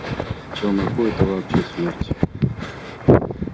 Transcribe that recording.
челноку это вообще смерть